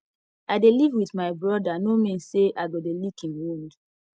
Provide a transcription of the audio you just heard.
i dey live with my brother no mean say i go dey lick im wound